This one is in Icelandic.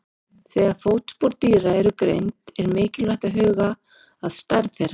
Þegar fótspor dýra eru greind er mikilvægt að huga að stærð þeirra.